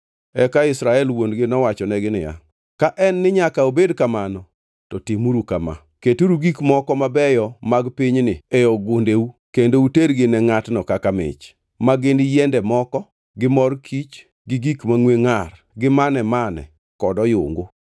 Eka Israel wuon-gi nowachonegi niya, “Ka en ni nyaka obed kamano, to timuru kama. Keturu gik moko mabeyo mag pinyni e ogundeu kendo utergi ne ngʼatno kaka mich; ma gin yiende moko, gi mor kich gi gik mangʼwe ngʼar gi mane-mane kod oyungu.